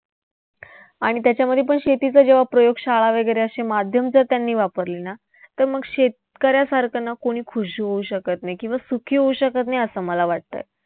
आणि त्याच्यामध्येपण शेतीच्या प्रयोगशाळा वैगरे असे माध्यम जर त्यांनी वापरले ना तर मग शेतकऱ्यासारखं ना कोणी खुश होऊ शकत नाही किंवा सुखी होऊ शकत नाही असं मला वाटतंय.